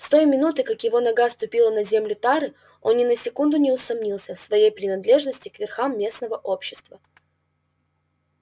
с той минуты как его нога ступила на землю тары он ни на секунду не усомнился в своей принадлежности к верхам местного общества